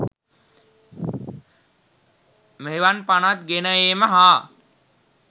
මෙවන් පනත් ගෙන ඒම හා